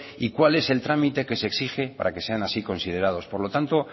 y cuál es el trámite que se exige para que sean así considerados por lo tanto